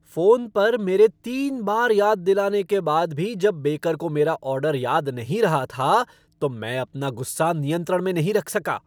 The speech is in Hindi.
फ़ोन पर मेरे तीन बार याद दिलाने के बाद भी जब बेकर को मेरा ऑर्डर याद नहीं रहा था तो मैं अपना गुस्सा नियंत्रण में नहीं रख सका।